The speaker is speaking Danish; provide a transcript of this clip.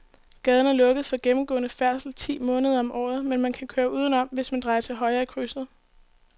Gaden er lukket for gennemgående færdsel ti måneder om året, men man kan køre udenom, hvis man drejer til højre i krydset.